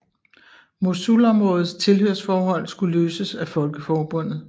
Mosulområdets tilhørsforhold skulle løses af Folkeforbundet